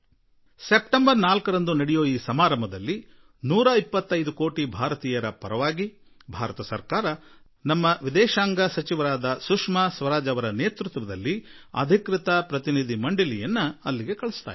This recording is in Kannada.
ಸೆಪ್ಟೆಂಬರ್ 4ರಂದು ನಡೆಯುವ ಸಮಾರಂಭದಲ್ಲಿ 125 ಕೋಟಿ ಜನತೆಯ ಪರವಾಗಿ ಭಾರತ ಸರ್ಕಾರ ನಮ್ಮ ವಿದೇಶಾಂಗ ಸಚಿವೆ ಸುಷ್ಮಾ ಸ್ವರಾಜ್ ಅವರ ನೇತೃತ್ವದಲ್ಲಿ ಒಂದು ಅಧಿಕೃತ ನಿಯೋಗ ಅಲ್ಲಿಗೆ ತೆರಳಲಿದೆ